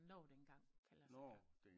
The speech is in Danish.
Når det en gang kan lade sig gøre